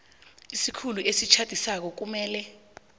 isikhulu esitjhadisako kumele